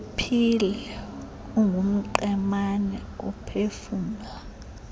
uphile ungumqemane uphefumla